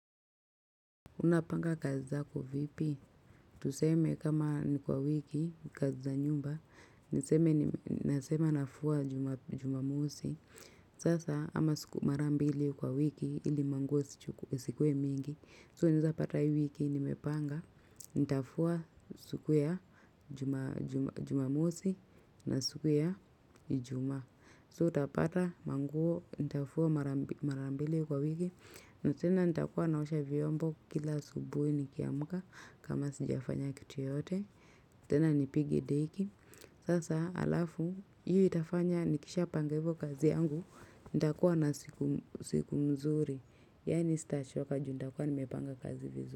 Unapanga kazi zako vipi? Tuseme kama ni kwa wiki, kazi za nyumba, naseme nafua jumamosi. Sasa ama marambili kwa wiki ili manguo isikuwe mingi. So unaezapata hii wiki nimepanga, nitafua siku ya jumamosi na siku ya ijuma. So utapata manguo, nitafua marambili kwa wiki. Na tena nitakuwa naosha vyombo kila asubuhi nikiamka. Kama sijafanya kitu yoyote tena nipige deki. Sasa alafu, hiyo itafanya nikishapanga hivyo kazi yangu nitakuwa na siku nzuri. Yani sitachoka ju nitakuwa nimepanga kazi vizuri.